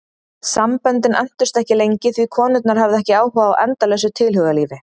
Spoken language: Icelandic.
Samböndin entust ekki lengi því konurnar höfðu ekki áhuga á endalausu tilhugalífi.